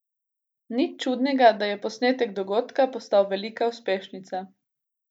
Nič čudnega, da je posnetek dogodka postal velika uspešnica.